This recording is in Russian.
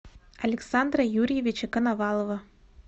александра юрьевича коновалова